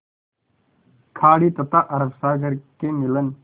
खाड़ी तथा अरब सागर के मिलन